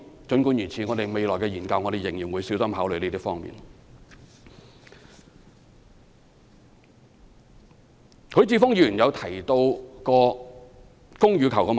儘管如此，我們未來的研究仍然會小心考慮這些方面的問題。